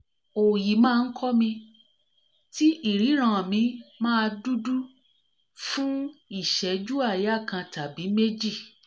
òòyì máa ń ko mi ti iriran mi máa dudu fún ìṣẹ́jú aaya kan tàbí méjì